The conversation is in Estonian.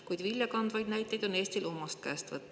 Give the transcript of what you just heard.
Kuid viljakandvaid näiteid on Eestil omast käest võtta.